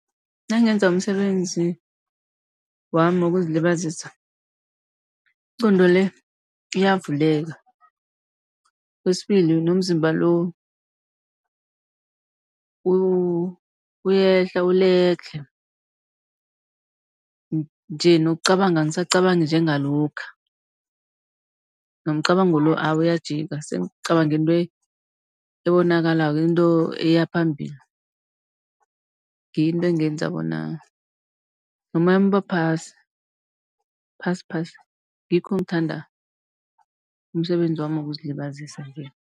Nangenza umsebenzi wami wokuzilibazisa ingqondo le iyavuleka. Kwesibili nomzimba lo uyehla uledlhe, nje nokucabanga angisacabangi njengalokha. Nomcabango lo awa uyajika sengicabanga into ebonakalako, into eyaphambili. Ngiyo into engenza bona nomoyami uba phasi phasi-phasi, ngikho ngithanda umsebenzi wami wokuzilibazisa nje.